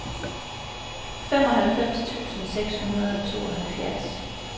femoghalvfems tusind seks hundrede og tooghalvfjerds